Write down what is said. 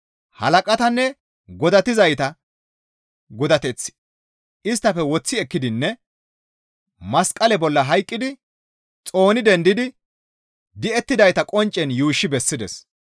Halaqatanne godatizayta godateth isttafe woththi ekkidinne masqale bolla hayqqidi xooni dendidi di7ettidayta qonccen yuushshi bessides.